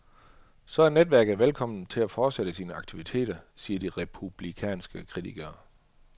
Så er netværket velkommen til at fortsætte sine aktiviteter, siger de republikanske kritikere.